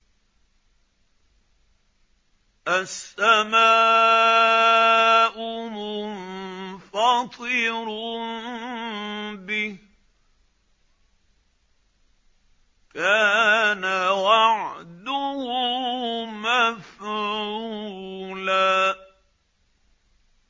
السَّمَاءُ مُنفَطِرٌ بِهِ ۚ كَانَ وَعْدُهُ مَفْعُولًا